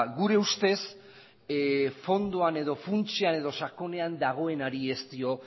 gure ustez fondoan edo funtsean edo sakonean dagoenari ez dio